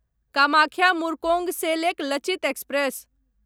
Kamakhya Murkongselek Lachit express